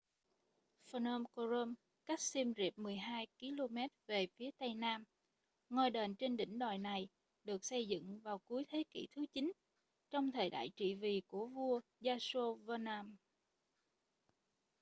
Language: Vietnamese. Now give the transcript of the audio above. phnom krom cách xiêm riệp 12km về phía tây nam ngôi đền trên đỉnh đồi này được xây dựng vào cuối thế kỷ thứ 9 trong thời đại trị vì của vua yasovarman